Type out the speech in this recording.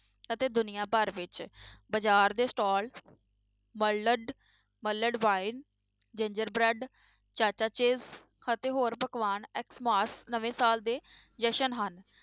ਅਤੇ ਦੁਨੀਆਂ ਭਰ ਵਿੱਚ ਬਾਜ਼ਾਰ ਦੇ stall ਵੱਲਡਵਾਈਨ ginger bread ਚਾਚਾ ਚਿੱਪਸ ਅਤੇ ਹੋਰ ਪਕਵਾਨ ਨਵੇਂ ਸਾਲ ਦੇ ਜਸ਼ਨ ਹਨ